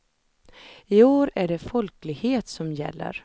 I år är det folklighet som gäller.